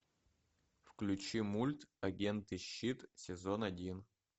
включи мульт агенты щит сезон один